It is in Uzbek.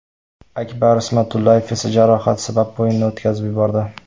Akbar Ismatullayev esa jarohat sabab o‘yinni o‘tkazib yubordi.